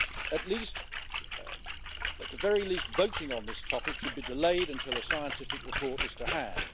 At the very least, voting on this topic should be delayed until a scientific report is to hand.